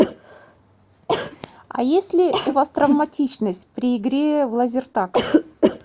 а есть ли у вас травматичность при игре в лазертаг